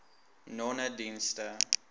nonedienste